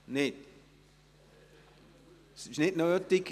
– Nein, Sie erachten es als nicht nötig.